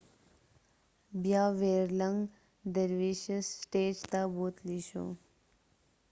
بیا ويرلنګ درویشس سټیج ته بوتلي شو